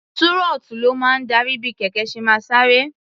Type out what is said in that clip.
Túrọ́ọ́tù ló máa ń darí bí kẹ̀kẹ́ ṣe máa sáré.